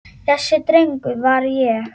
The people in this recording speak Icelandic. Þessi drengur var ég.